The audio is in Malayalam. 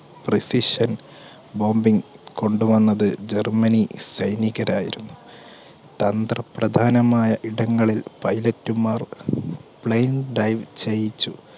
proficient bombing കൊണ്ടുവന്നത് ജർമ്മനി സൈനികരായിരുന്നു. തന്ത്ര പ്രധാനമായ ഇടങ്ങളിൽ pilot മാർ plane dive ചെയ്യിച്ചു